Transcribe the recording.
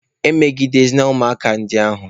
Emegidezịna ụmụaka a ndị ahụ!